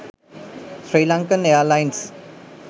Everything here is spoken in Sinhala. srilankan airlines